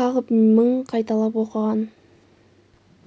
қағып мың қайталап оқыған